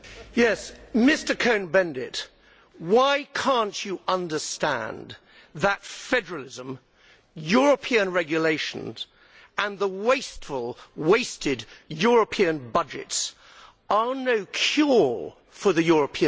Mr Cohn Bendit, why cannot you understand that federalism, European regulations and the wasteful, wasted European budgets are no cure for the European disease?